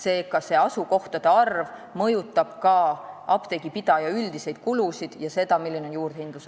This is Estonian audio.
Eri asukohtades olevate apteekide arv mõjutab ka apteegipidaja üldiseid kulusid ja seda, milline on juurdehindlus.